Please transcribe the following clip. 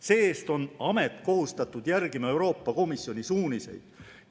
See-eest on amet kohustatud järgima Euroopa Komisjoni suuniseid.